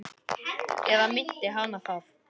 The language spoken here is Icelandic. Eða minnti hana það?